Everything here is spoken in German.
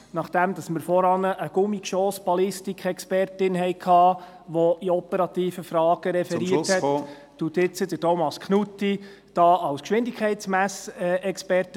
Nachdem wir vorhin eine Gummigeschoss-Ballistikexpertin hatten, welche zu operativen Fragen referiert hat, referiert jetzt Thomas Knutti als Geschwindigkeitsmessexperte.